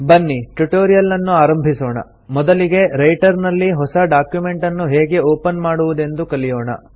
ಬನ್ನಿ ಟ್ಯುಟೋರಿಯಲ್ಲನ್ನು ಆರಂಭಿಸೋಣ ಮೊದಲಿಗೆ ರೈಟರ್ ನಲ್ಲಿ ಹೊಸ ಡಾಕ್ಯುಮೆಂಟನ್ನು ಹೇಗೆ ಒಪನ್ ಮಾಡುವುದೆಂದು ಕಲಿಯೋಣ